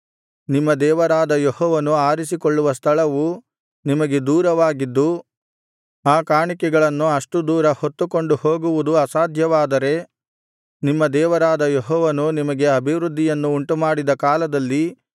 ನಿಮ್ಮ ದೇವರಾದ ಯೆಹೋವನು ಆರಿಸಿಕೊಳ್ಳುವ ಸ್ಥಳವು ನಿಮಗೆ ದೂರವಾಗಿದ್ದು ಆ ಕಾಣಿಕೆಗಳನ್ನು ಅಷ್ಟು ದೂರ ಹೊತ್ತುಕೊಂಡು ಹೋಗುವುದು ಅಸಾಧ್ಯವಾದರೆ ನಿಮ್ಮ ದೇವರಾದ ಯೆಹೋವನು ನಿಮಗೆ ಅಭಿವೃದ್ಧಿಯನ್ನು ಉಂಟುಮಾಡಿದ ಕಾಲದಲ್ಲಿ